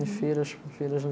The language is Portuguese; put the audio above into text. Em feiras, com feiras.